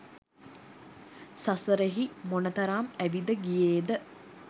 සසරෙහි මොනතරම් ඇවිද ගියේද